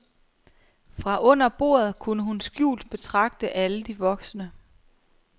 Fra under bordet kunne hun skjult betragte alle de voksne.